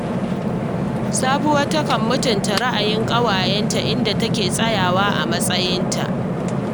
Sabuwa takan mutunta ra’ayin ƙawayenta, inda take tsayawa a matsayinta